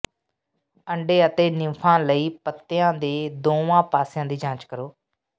ਅੰਡੇ ਅਤੇ ਨਿੰਫਾਂ ਲਈ ਪੱਤਿਆਂ ਦੇ ਦੋਵਾਂ ਪਾਸਿਆਂ ਦੀ ਜਾਂਚ ਕਰੋ